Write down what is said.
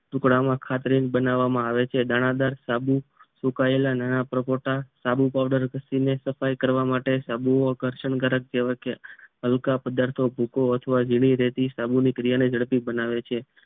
ટુકડામાં ખાતરેજ બનાવામાં આવે છે દાણાદાર સાબુ સુકાયેલા નાના પરપોટા સાબુ પાવડર ઘસીને સફાઈ કરવા માટે સાબુ આકર્ષક કેવાય હલકા પદાર્થો ભૂકો અથવા જીની રેતી સાબુની ક્રિયાને ઝડપી બનાવે છે